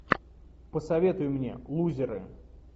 посоветуй мне лузеры